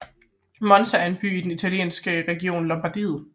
Monza er en by i den italienske region Lombardiet